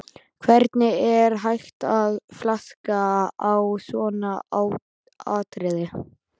Hvernig er hægt að flaska á svona atriði?